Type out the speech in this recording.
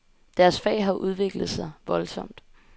Deres fag har udviklet sig voldsomt.